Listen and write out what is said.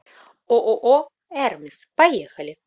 ооо эрмис поехали